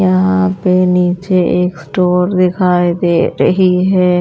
यहाँ पे नीचे एक स्टोर दिखाई दे रही है।